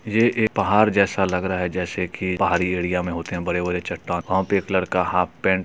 ये एक पहाड़ जैसा लग रहा है जैसे की पहाड़ी एरिया मे होते हैं बड़े-बड़े चट्टान। वहा पे एक लड़का हाफ पेंट --